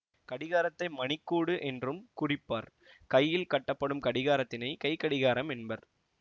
கடிகாரத்தை மணிக்கூடு என்றும் குறிப்பர் கையில் கட்டப்படும் கடிகாரத்தினை கைக்கடிகாரம் என்பர்